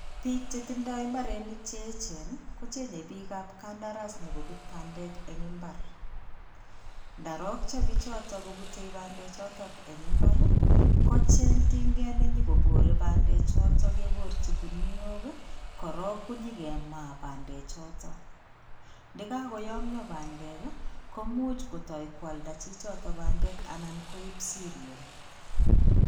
Bik chetindoi imbarenik che yechen kochenge bik ab kandaras nobut pandek en imbar ndarocho biochoton ko bute bandek choton en imbar kocheng tinket nenyo kobore pandek choton keborji kuniok korong konyo kemaa pandek choton ndakakoyomyoo pandek kii koumuch kotoo koalda chichoto pandek anan koup siriol.